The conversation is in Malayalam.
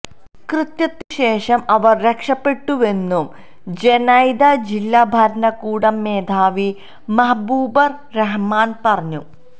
കൃത്യത്തിനുശേഷം അവര് രക്ഷപെട്ടുവെന്നും ജെനൈദ ജില്ലാ ഭരണകൂടം മേധാവി മഹ്ബുബുര് റഹ്മാന് പറഞ്ഞു